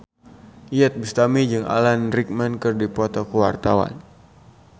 Iyeth Bustami jeung Alan Rickman keur dipoto ku wartawan